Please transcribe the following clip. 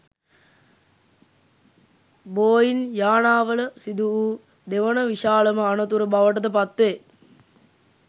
බෝයිංයානාවල සිදුවූ දෙවන විශාලම අනතුර බවටද පත්වේ